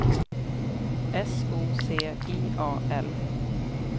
S O C I A L